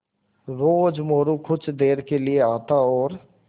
रोज़ मोरू कुछ देर के लिये आता और